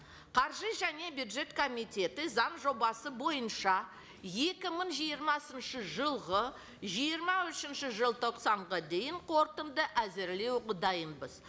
қаржы және бюджет комитеті заң жобасы бойынша екі мың жиырмасыншы жылғы жиырма үшінші желтоқсанға дейін қорытынды әзірлеуге дайынбыз